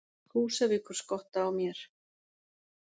Húsavíkur-Skotta á mér.